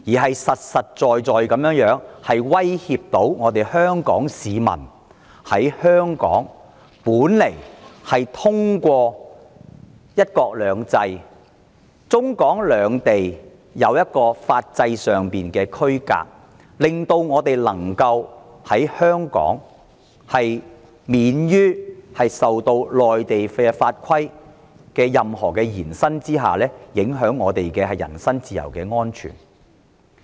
它實實在在地威脅到香港市民，因為透過"一國兩制"和中港兩地在法制上的區隔，香港本來可以免於因內地法規的延伸而影響到我們的人身自由安全。